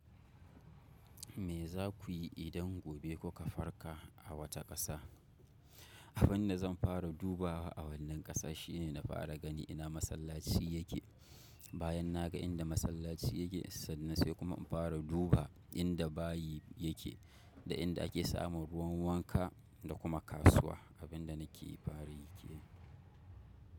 Me za ku yi idan gobe kuka farka a wata ƙasa? Abin da zan fara duba a wannan ƙasa shine na fara gani ina masallaci yake. Bayan na ga inda masallaci yake sannan sai kuma in fara duba inda bayi yake da inda ake samun ruwan wanka da kuma kasuwa, abin da na ke yi fari yake.